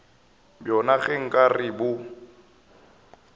bjona ge nka re bo